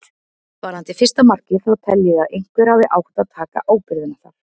Varðandi fyrsta markið þá tel ég að einhver hafi átt að taka ábyrgðina þar.